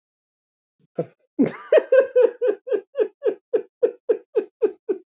Ertu sofnaður, Emil minn?